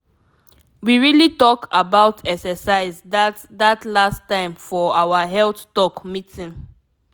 we really talk about exercise that that last time for our health talk meeting.